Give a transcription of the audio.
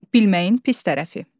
Bilməyin pis tərəfi.